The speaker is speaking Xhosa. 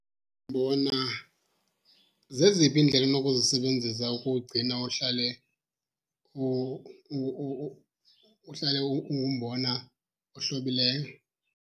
Umbona zeziphi iindlela onokuzisebenzisa ukuwugcina uhlale uhlale ungumbona ohlobileyo?